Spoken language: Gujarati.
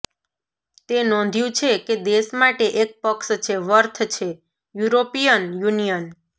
તે નોંધ્યું છે કે દેશ માટે એક પક્ષ છે વર્થ છે યુરોપિયન યુનિયન